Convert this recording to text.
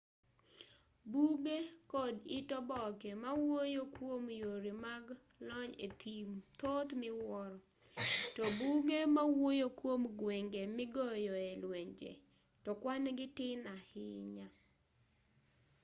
buge kod it oboke ma wuoyo kwom yore mag tony e thim thoth miwuoro to buge mawuoyo kwom gwenge migoyoe lwenje to kwan gi tin ahinya